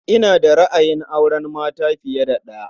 Ina da ra'ayin auren mata fiye da ɗaya.